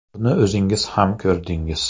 Buni o‘zingiz ham ko‘rdingiz.